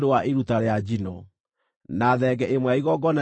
na thenge ĩmwe ya igongona rĩa kũhoroherio mehia;